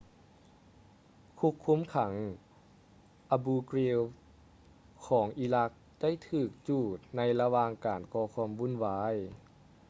ຄຸກຄຸມຂັງ abu ghraib ຂອງອີຣັກໄດ້ຖືກຈູດໃນລະຫວ່າງການກໍຄວາມວຸ້ນວາຍ